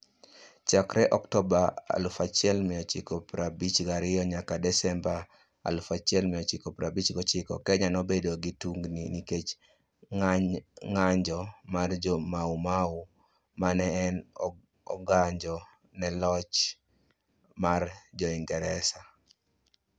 Chakre Oktoba 1952 nyaka Desemba 1959, Kenya nobedo gi tungini nikech ng'anjo mar Jo-Mau Mau ma ne ong'anjo ne loch mar Jo-Ingresa.